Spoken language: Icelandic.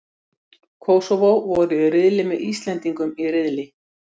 Kósóvó voru í riðli með Íslendingum í riðli.